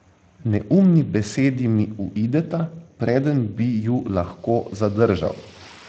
Neumni besedi mi uideta, preden bi ju lahko zadržal.